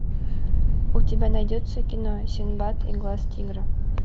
у тебя найдется кино синдбад и глаз тигра